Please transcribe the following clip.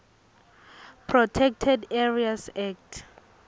protected areas act